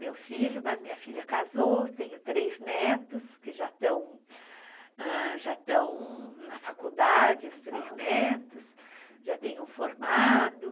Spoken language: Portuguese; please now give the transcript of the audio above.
Meu filho, mas minha filha casou, tenho três netos que já estão na faculdade, os três netos, já tenho um formado.